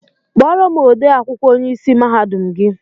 Kpọrọ m ode akwụkwọ onye ịsị mahadum gị!